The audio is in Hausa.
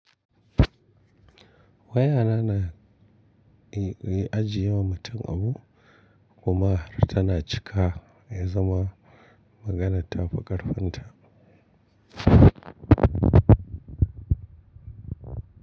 Wayana na yi, yi ajiye wa mutum abu kuma tana cika ya zama maganar ta fi ƙarfin ta.